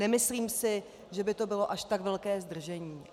Nemyslím si, že by to bylo až tak velké zdržení.